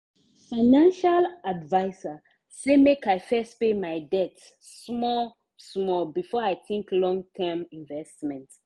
financial adviser say make i first pay my debt small-small before i think long term investment.